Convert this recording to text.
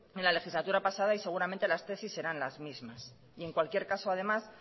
en la legislatura pasada y seguramente las tesis serán las mismas y en cualquier caso además